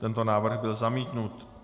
Tento návrh byl zamítnut.